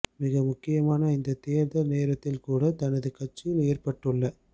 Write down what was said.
மிக முக்கியமான இந்த தேர்தல் நேரத்தில் கூட தனது கட்சியில் ஏற்பட்டுள்ள